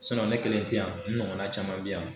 ne kelen ti yan n ɲɔgɔnna caman bi yan